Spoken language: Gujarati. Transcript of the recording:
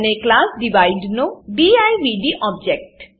અને ક્લાસ ડિવાઇડ નો દિવ્દ ઓબ્જેક્ટ